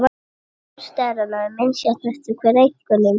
Styrkur steranna er misjafn og fer eftir einkennum.